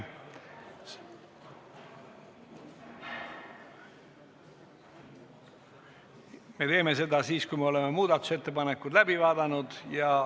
Me teeme seda siis, kui oleme muudatusettepanekud läbi vaadanud.